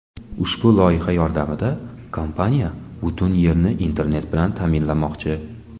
Ushbu loyiha yordamida kompaniya butun Yerni internet bilan ta’minlamoqchi.